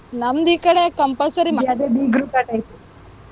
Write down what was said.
ನಮ್ದ್ ಈ ಕಡೆ compulsory .